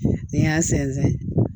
N'i y'a sɛnsɛn